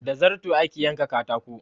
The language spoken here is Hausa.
Da zarto ake yanka katako.